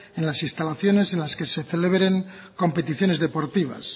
en las instalaciones en las que se celebren competiciones deportivas